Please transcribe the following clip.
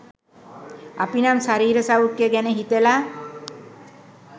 අපි නම් ශරීර සෞඛ්‍ය ගැන හිතල